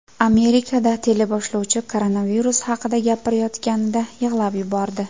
Amerikada teleboshlovchi koronavirus haqida gapirayotganida yig‘lab yubordi .